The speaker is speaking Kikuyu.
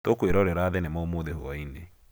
Tũkwĩrorera thinema ũmũthĩ hwainĩ